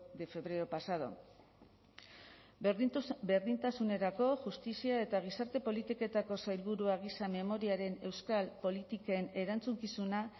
de febrero pasado berdintasunerako justizia eta gizarte politiketako sailburua gisa memoriaren euskal politiken erantzukizuna